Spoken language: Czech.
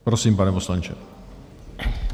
Prosím, pane poslanče.